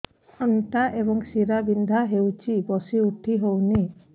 ଅଣ୍ଟା ଏବଂ ଶୀରା ବିନ୍ଧା ହେଉଛି ବସି ଉଠି ହଉନି